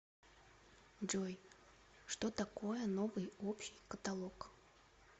джой что такое новый общий каталог